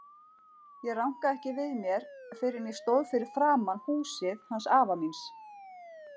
Ég rankaði ekki við mér fyrr en ég stóð fyrir framan húsið hans afa míns.